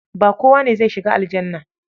Ba kowa ne zai shiga aljannah.